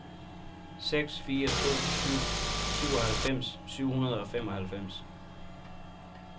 seks fire to syv syvoghalvfems syv hundrede og femoghalvfems